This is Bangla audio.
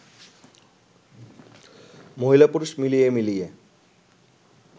মহিলা-পুরুষ মিলিয়ে মিলিয়ে